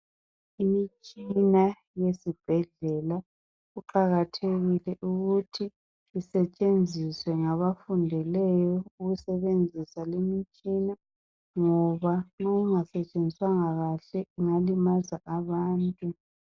Imitshina yezibhedlela kuqakathekile ukuthi isetshenziswe ngabafundeleyo ukusebenzisa limitshina ngoba nxa ingasetshenziswanga kahle ingalimaza abantu.